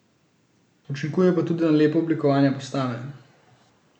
Učinkuje pa tudi na lepo oblikovanje postave.